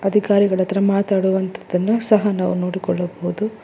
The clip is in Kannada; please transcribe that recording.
ಅಧಿಕಾರಿಗಳ ಹತ್ರ ಮಾಡುವಂತದ್ದನು ಸಹ ನಾವು ನೋಡಿಕೊಳ್ಳಬಹುದು.